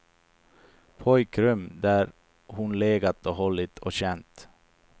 Pojkrum där hon legat och hållit och känt.